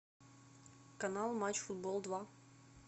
канал матч футбол два